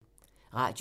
Radio 4